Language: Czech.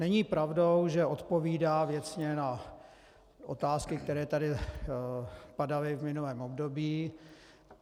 Není pravdou, že odpovídá věcně na otázky, které tady padaly v minulém období.